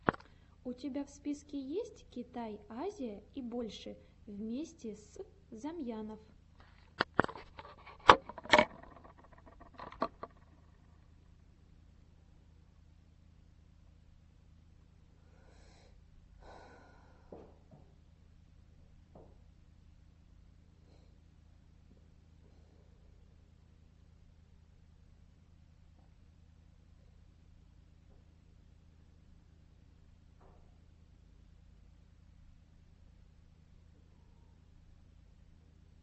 у тебя в списке есть китай азия и больше вместе с замьянов